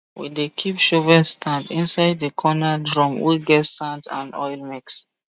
we dey keep shovel stand inside the corner drum wey get sand and oil mix